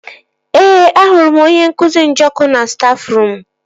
Ee, ahụrụ m onye nkụzi Njọkụ na stafruum